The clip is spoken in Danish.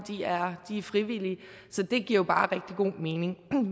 frivillige så det giver jo bare rigtig god mening